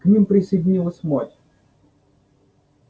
к ним присоединилась мать